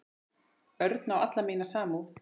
Örn á alla mína samúð.